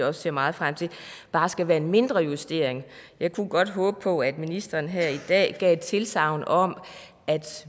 også ser meget frem til bare skal være en mindre justering jeg kunne godt håbe på at ministeren her i dag gav et tilsagn om at vi